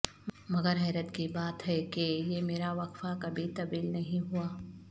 مگر حیرت کی بات ہے کہ یہ میرا وقفہ کبھی طویل نہیں ہوا